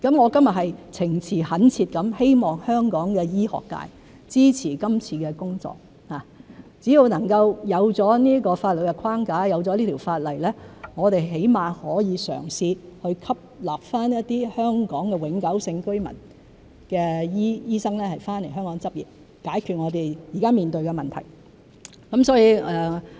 我今天是情詞懇切地希望香港醫學界支持這次工作，只要能夠有這個法律框架、有了這條法例，我們至少可以嘗試去吸納一些香港永久性居民的醫生回港執業，解決我們現時面對的問題。